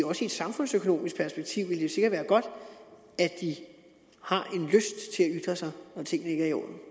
også i et samfundsøkonomisk perspektiv sikkert ville være godt at de har en lyst til at ytre sig